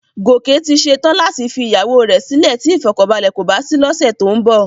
Gòkè ti ṣe tán láti fi ìyàwó rẹ sílè tí ìfọ̀kànbalẹ̀ kò bá sí lọ́sẹ̀ tó ń bọ̀